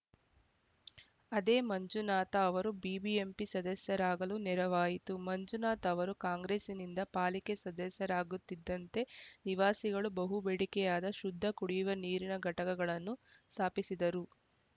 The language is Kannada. ಅದೇ ಮಂಜುನಾಥ ಅವರು ಬಿಬಿಎಂಪಿ ಸದಸ್ಯರಾಗಲು ನೆರವಾಯಿತು ಮಂಜುನಾಥ್‌ ಅವರು ಕಾಂಗ್ರೆಸ್ಸಿನಿಂದ ಪಾಲಿಕೆ ಸದಸ್ಯರಾಗುತ್ತಿದ್ದಂತೆ ನಿವಾಸಿಗಳ ಬಹುಬೇಡಿಕೆಯಾದ ಶುದ್ಧ ಕುಡಿಯುವ ನೀರಿನ ಘಟಕಗಳನ್ನು ಸಾಪಿಸಿದರು